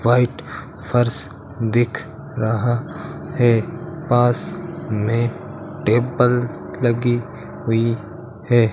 White फर्श दिख रहा है पास में टेबल लगी हुई है।